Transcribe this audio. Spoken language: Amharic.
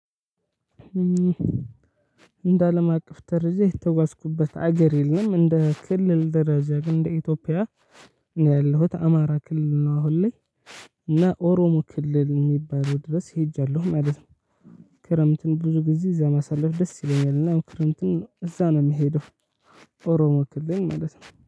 እንደ አለም አቀፍ ደረጃ የተጓዝኩበት ሀገር የለም። እንደ ክልል ደረጃ ግን እንደ ኢትዮጵያ ያለሁት አማራ ክልል ነው አሁን ላይ እና ኦሮሞ ክልል የሚባለው ድረስ ሄጃለሁ ማለት ነው። ክረምትን ብዙ ጊዜ እዛ ማሳለፍ ደስ ይለኛል እና ክረምትን እዛ ነው የምሄደው ኦሮሞ ክልል ማለት ነው።